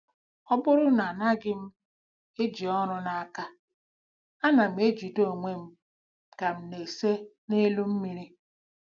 " Ọ bụrụ na anaghị m eji ọrụ n'aka, ana m ejide onwe m ka m na-ese n'elu mmiri.